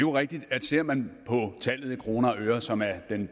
er rigtigt at ser man på tallet i kroner og øre som er